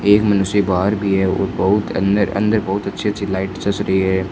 एक मनुष्य बाहर भी है और बहुत अंदर अंदर बहुत अच्छे अच्छे लाइट जच रही है।